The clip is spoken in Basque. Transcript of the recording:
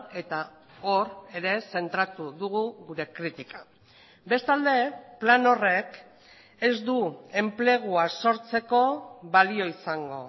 eta hor ere zentratu dugu gure kritika bestalde plan horrek ez du enplegua sortzeko balio izango